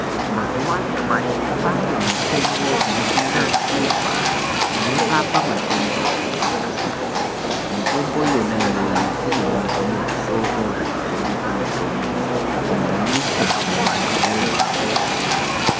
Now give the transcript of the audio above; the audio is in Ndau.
Mazuwa anyamashi kwaane mitombo irikunasirwa inorape matenda akasiyana siyana. Mitombo yona iyoyo inoonekwa muzvitoro zvinotengesa mitombo kunyanyisa mumadhorobha umwomwo.